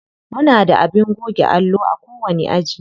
Muna da abin goge allo a kowani aji.